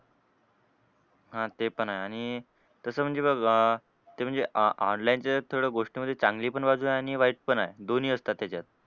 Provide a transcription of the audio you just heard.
हां ते पण आहे आणि तसं म्हणजे बघ ते म्हणजे o online चं थोडं गोष्ट म्हणजे चांगली पण बाजू आहे आणि वाईट पण आहे. दोन्ही असतात त्याच्यात.